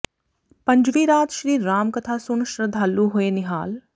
ਪੰਜਵੀਂ ਰਾਤ ਸ਼੍ਰੀ ਰਾਮ ਕਥਾ ਸੁਣ ਸ਼ਰਧਾਲੂ ਹੋਏ ਨਿਹਾਲ